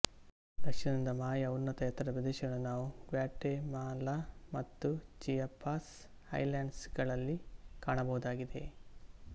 ದಕ್ಷಿಣದ ಮಾಯಾ ಉನ್ನತ ಎತ್ತರ ಪ್ರದೇಶಗಳನ್ನು ನಾವು ಗ್ವಾಟೆಮಾಲಾ ಮತ್ತು ಚಿಯಾಪಾಸ್ ಹೈಲ್ಯಾಂಡ್ಸ್ ಗಳಲ್ಲಿ ಕಾಣಬಹುದಾಗಿದೆ